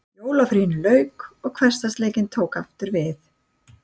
Jólafríinu lauk og hversdagsleikinn tók aftur við.